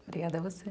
Obrigada a você.